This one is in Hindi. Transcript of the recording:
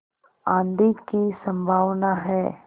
आँधी की संभावना है